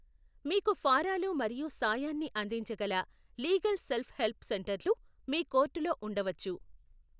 మీకు ఫారాలు మరియు సాయాన్ని అందించగల లీగల్ సెల్ఫ్ హెల్ప్ సెంటర్లు మీ కోర్టులో ఉండవచ్చు.